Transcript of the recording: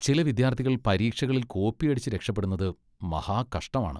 ചില വിദ്യാർത്ഥികൾ പരീക്ഷകളിൽ കോപ്പിയടിച്ച് രക്ഷപ്പെടുന്നത് മഹാകഷ്ടമാണ്.